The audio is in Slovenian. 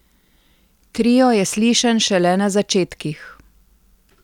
Trio je slišen šele na začetkih.